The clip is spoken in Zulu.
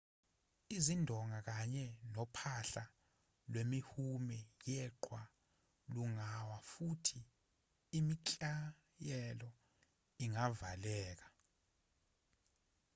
izindonga kanye nophahla lwemihume yeqhwa lungawa futhi imiklayeko ingavaleka